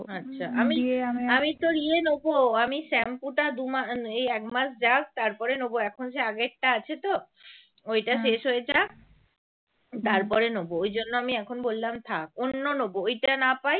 তারপরে নেব ওই জন্য এখন আমি বললাম থাক অন্য নেব ওটা না পাই